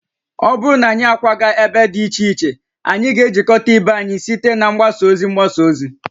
Ọ bụrụ na anyị akwaga ebe dị iche iche, anyị ga-ejikọta ibe anyị site na mgbasa ozi mgbasa ozi